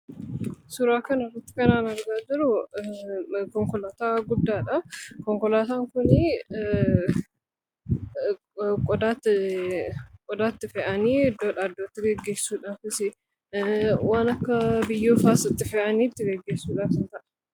Suuraa kanarratti kan an argaa jiru konkolaataaa guddaadha. Konkolaataan kunii qodaa itti fe'anii iddoodhaa iddootti geggeessuudhaafis waan akka biyyoofaas itti fe'anii itti geggeessuudhaaf ni ta'a.